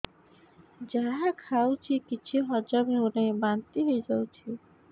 ଯାହା ଖାଉଛି କିଛି ହଜମ ହେଉନି ବାନ୍ତି ହୋଇଯାଉଛି